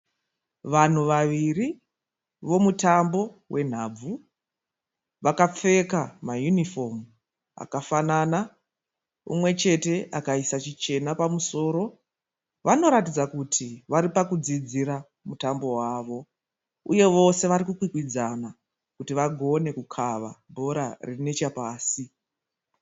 Vanhu vaviri vomutambo wonhabvu. Vakapfeka mayunifomu akafanana. Umwe chete akaisa chichena pamusoro. Vanoratidza kuti varipakudzidzira mutambo wawo uye vose vari kukwikwidzana kuti vagone kukava bhora riri nechepasi.